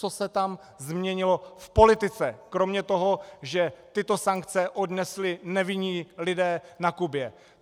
Co se tam změnilo v politice kromě toho, že tyto sankce odnesli nevinní lidé na Kubě?